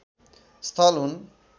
स्थल हुन्